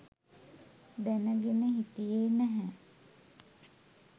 දැනගෙන හිටියේ නැහැ